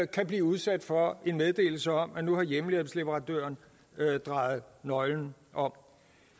kan blive udsat for en meddelelse om at nu har hjemmehjælpsleverandøren drejet nøglen om